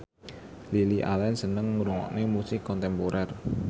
Lily Allen seneng ngrungokne musik kontemporer